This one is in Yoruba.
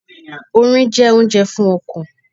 Orin jẹ́ oúnjẹ fún ọkàn.